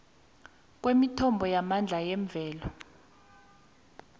kwemithombo yamandla yemvelo